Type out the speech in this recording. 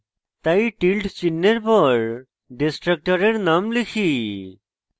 তাই tilde tilde চিহ্ন for for destructors name লিখি